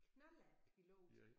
Knallertpilot?